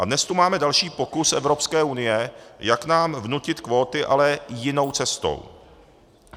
A dnes tu máme další pokus Evropské unie, jak nám vnutit kvóty, ale jinou cestou.